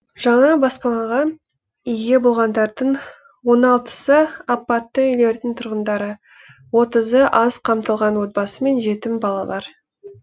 жаңа баспанаға ие болғандардың он алтысы апатты үйлердің тұрғындары отызы аз қамтылған отбасы мен жетім балалар